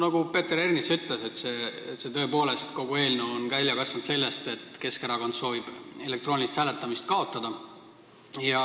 Nagu Peeter Ernits ütles, et tõepoolest on kogu eelnõu välja kasvanud sellest, et Keskerakond soovib elektroonilist hääletamist kaotada.